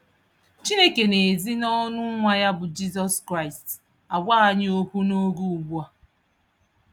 Chineke n'ezi n'ọnụ nwa ya bu Jizọs Kraịst àgwá anyị ókwú n'oge ugbua.